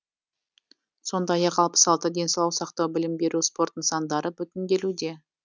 сондай ақ алпыс алты денсаулық сақтау білім беру спорт нысандары бүтінделуде